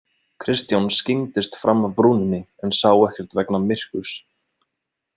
Kristján skyggndist fram af brúninni en sá ekkert vegna myrkurs.